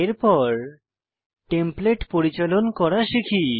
এর পর টেমপ্লেট পরিচালন করা শিখি